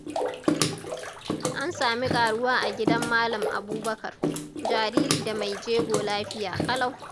An sami ƙaruwa a gidan Malam Abubakar, jariri da mai jego lafiya ƙalau.